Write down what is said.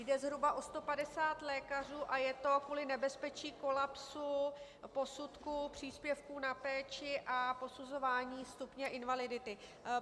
Jde zhruba o 150 lékařů a je to kvůli nebezpečí kolapsu posudků příspěvku na péči a posuzování stupně invalidity.